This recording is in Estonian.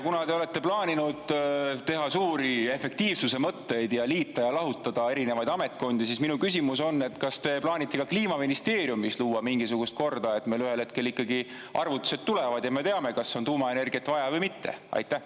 Kuna te olete plaaninud teha suuri efektiivsuse mõtteid ja liita‑lahutada erinevaid ametkondi, siis on minu küsimus selline: kas te plaanite ka Kliimaministeeriumis luua mingisugust korda, et meile ühel hetkel ikkagi arvutused tulevad ja me teame, kas tuumaenergiat on vaja või mitte?